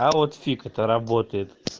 а вот фиг это работает